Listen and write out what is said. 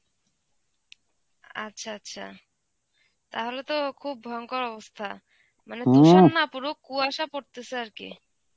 আচ্ছা আচ্ছা. তাহলে তো খুব ভয়ঙ্কর অবস্থা. মানে তুষার না পুরো কুয়াশা পরতেসে আরকি.